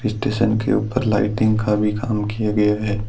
Station के ऊपर lighting का भी काम किया गया है।